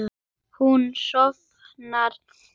Hún sofnar.